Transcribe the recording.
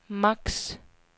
max